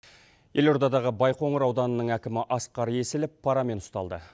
елордадағы байқоңыр ауданының әкімі асқар есілов парамен ұсталды